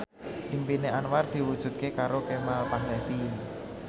impine Anwar diwujudke karo Kemal Palevi